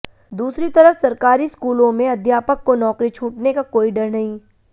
दूसरी तरफ सरकारी स्कूलों में अध्यापक को नौकरी छूटने का कोई डर नहीं